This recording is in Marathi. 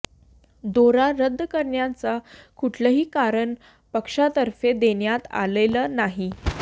दौरा रद्द करण्याचं कुठलंही कारण पक्षातर्फे देण्यात आलेलं नाही